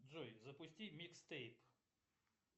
джой запусти микс тейп